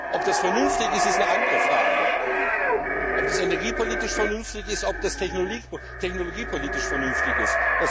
Ob das vernünftig ist, ist eine andere Frage, ob das energiepolitisch vernünftig ist, ob das technologiepolitisch vernünftig ist.